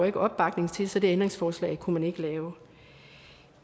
ikke opbakning til så det ændringsforslag kunne man ikke lave